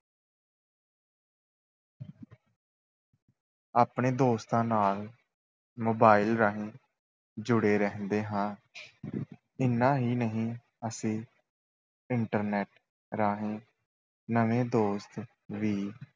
ਆਪਣੇ ਦੋਸਤਾਂ ਨਾਲ mobile ਰਾਹੀਂ ਜੁੜੇ ਰਹਿੰਦੇ ਹਾਂ ਇੰਨਾ ਹੀ ਨਹੀਂ ਅਸੀਂ internet ਰਾਹੀਂ ਨਵੇਂ ਦੋਸਤ ਵੀ